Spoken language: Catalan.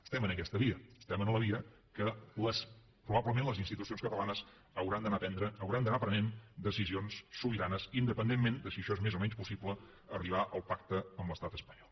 estem en aquesta via estem en la via en què probablement les institucions catalanes hauran d’anar prenent decisions sobiranes independentment de si en això és més o menys possible arribar al pacte amb l’estat espanyol